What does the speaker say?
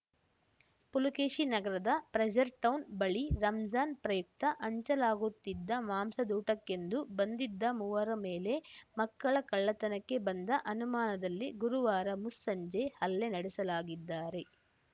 ಪುಲಕೇಶಿನಗರದ Frazer Town ಬಳಿ ರಂಜಾನ್‌ ಪ್ರಯುಕ್ತ ಹಂಚಲಾಗುತ್ತಿದ್ದ ಮಾಂಸದೂಟಕ್ಕೆಂದು ಬಂದಿದ್ದ ಮೂವರ ಮೇಲೆ ಮಕ್ಕಳ ಕಳ್ಳತನಕ್ಕೆ ಬಂದ ಅನುಮಾನದಲ್ಲಿ ಗುರುವಾರ ಮುಸ್ಸಂಜೆ ಹಲ್ಲೆ ನಡೆಸಲಾಗಿದ್ದಾರೆ